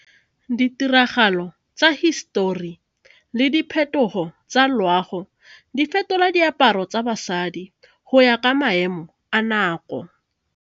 Ditiragalo tsa hisetori le diphetogo tsa loago di fetola diaparo tsa basadi go ya ka maemo a nako.